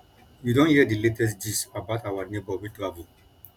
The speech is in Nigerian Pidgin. you don hear di latest gist about our neighbour wey travel